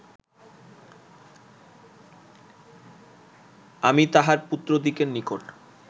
আমি তাঁহার পুত্রদিগের নিকট